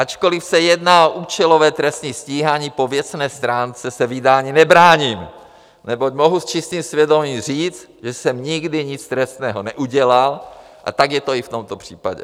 Ačkoliv se jedná o účelové trestní stíhání, po věcné stránce se vydání nebráním, neboť mohu s čistým svědomím říct, že jsem nikdy nic trestného neudělal, a tak je to i v tomto případě.